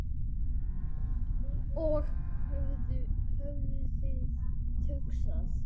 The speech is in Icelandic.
Og höfuðið hugsa?